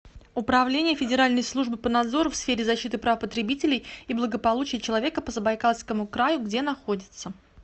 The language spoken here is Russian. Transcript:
управление федеральной службы по надзору в сфере защиты прав потребителей и благополучия человека по забайкальскому краю где находится